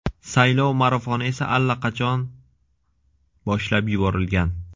Saylov marafoni esa allaqachon boshlab yuborilgan.